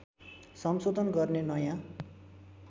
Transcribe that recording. संशोधन गर्ने नयाँ